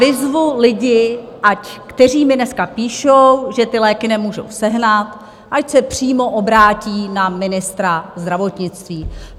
Vyzvu lidi, kteří mi dneska píšou, že ty léky nemůžou sehnat, ať se přímo obrátí na ministra zdravotnictví.